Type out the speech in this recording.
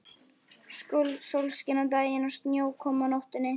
Sólskin á daginn og snjókoma á nóttunni.